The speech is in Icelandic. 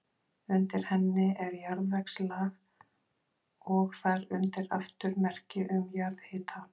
Undir henni er jarðvegslag og þar undir aftur merki um jarðhita.